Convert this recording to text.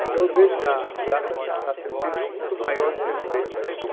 Então, eu vejo que a sociedade está está tendo um peso muito maior dentro da educação.